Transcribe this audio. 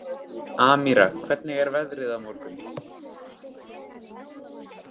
Amíra, hvernig er veðrið á morgun?